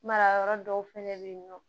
Mara yɔrɔ dɔw fɛnɛ bɛ yen nɔ